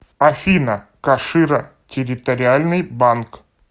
афина кашира территориальный банк